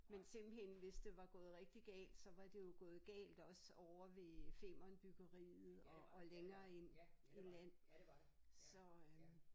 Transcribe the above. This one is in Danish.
Men simpelthen hvis det var gået rigtigt galt så var det jo gået galt også ovre ved Femernbyggeriet og længere ind i land så øh